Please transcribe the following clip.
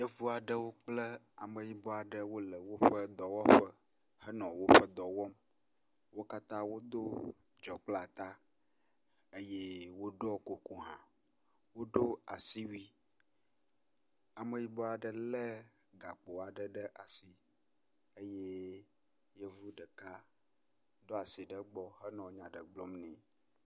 Yevu aɖewo kple ameyibɔ aɖewo le woƒe dɔwɔƒe henɔ woƒe dɔ wɔm. Wo katã wodo dzɔkpleata eye woɖɔ kuku hã. Wodo asiwui. Ameyibɔ aɖe ke gakpo aɖe ɖe asi eye yevu ɖeka do asi ɖe ekpɔ henɔ nya aɖe gblɔm nɛ.